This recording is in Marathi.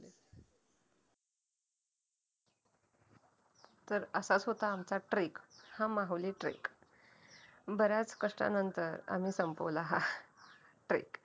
तर असाच होता आमचा trek हा माहुली trek बऱ्याच कष्टानंतर आम्ही संपवला हा treck